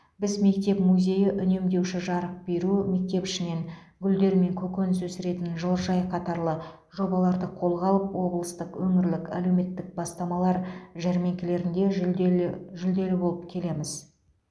біз мектеп музейі үнемдеуші жарық беру мектеп ішінен гүлдер мен көкөніс өсіретін жылыжай қатарлы жобаларды қолға алып облыстық өңірлік әлеуметтік бастамалар жәрмеңкелерінде жүлделі жүлделі болып келеміз